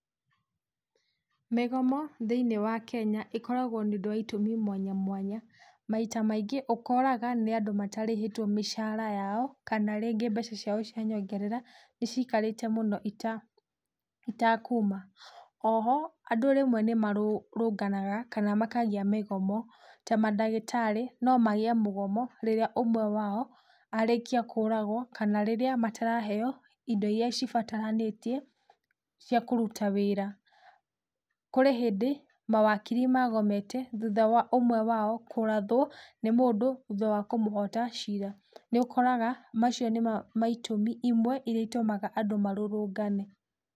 Mĩgomo thĩini wa Kenya ĩkoragwo nĩũndũ wa itũmi mwanya mwanya, maita maingĩ ũkoraga nĩ andũ matarĩhĩtwo mĩcaara yao kana rĩngĩ mbeca ciao cia nyongerera nĩcikarĩte mũno itakuuma. Oho andũ rĩmwe nĩmarũrũnganaga kana makagĩa mĩgomo ta mandagĩtarĩ nomagĩe mũgomo rĩrĩa ũmwe wao arĩkia kũragwo kana rĩrĩa mataraheywo indo iria cibataranĩtie cia kũruta wĩra. Kũrĩ hĩndĩ mawakiri magomete thutha wa ũmwe wao kũrathwo nĩ mũndũ thuutha wa kũmũhota ciira. Nĩũkoraga macio nĩmo maitũmi imwe iria itũmaga andũ marũrũngane.